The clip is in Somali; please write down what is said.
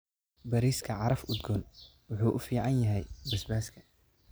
Bariiska caraf udgoon wuxuu u fiican yahay basbaaska.